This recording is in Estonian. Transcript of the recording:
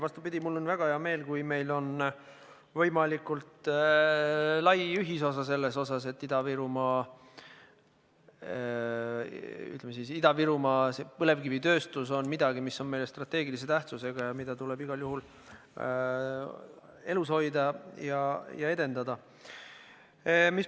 Vastupidi, mul on väga hea meel, kui meil on võimalikult lai ühisosa selles, et Ida-Virumaa või ütleme siis, Ida-Virumaa põlevkivitööstus on midagi, mis on meile strateegilise tähtsusega ja seda tuleb igal juhul elus hoida ja edendada.